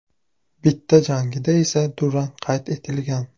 Bitta jangida esa durang qayd etilgan.